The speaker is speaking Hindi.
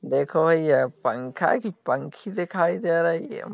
देखो यह पंखा है कि पंखी दिखाई दे रही है।